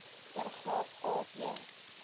paragraaf a b